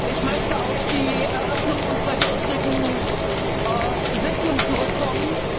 Ich möchte auf die Eröffnung unserer gestrigen Sitzung zurückkommen.